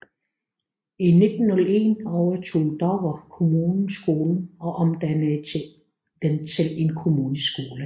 I 1901 overtog Dover Kommune skolen og omdannede den til en kommuneskole